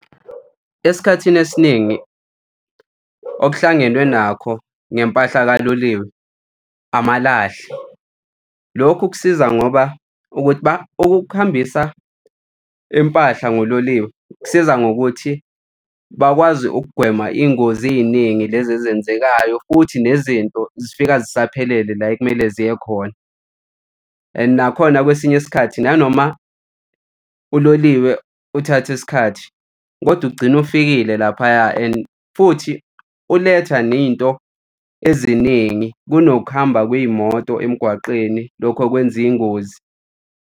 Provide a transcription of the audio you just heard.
Esikhathini esiningi okuhlangenwe nakho ngempahla kukaloliwe amalahle, lokhu kusiza ngoba ukuthi ukuhambisa impahla ngololiwe kusiza ngokuthi bakwazi ukugwema iy'ngozi ey'ningi lezi ezenzekayo, futhi nezinto zifika zisaphelele la ekumele ziye khona. And nakhona kwesinye isikhathi nanoma uloliwe uthathe isikhathi, kodwa ugcine ufikile laphaya and futhi uletha nento eziningi kunokuhamba kwey'moto emgwaqeni. Lokho kwenza iy'ngozi.